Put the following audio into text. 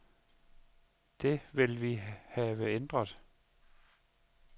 Det vil vi have ændret.